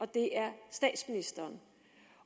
det er statsministeren